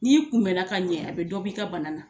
N'i kunbɛnna ka ɲɛ a bɛ dɔ b'i ka bana na